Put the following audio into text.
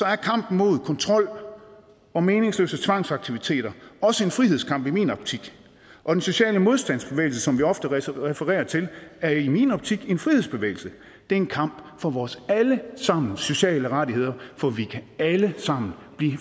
er kampen mod kontrol og meningsløse tvangsaktiviteter også en frihedskamp i min optik og den sociale modstandsbevægelse som vi ofte refererer til er i min optik en frihedsbevægelse det er en kamp for vores alle sammens sociale rettigheder for vi kan alle sammen